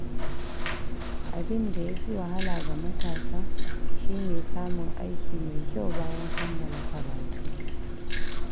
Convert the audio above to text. Abin da ya fi wahala ga matasa shi ne samun aiki mai kyau bayan kammala karatu.